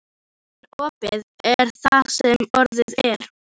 En orðið er það sem orðið er.